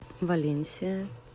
валенсия